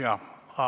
Jah, Avo Kokk.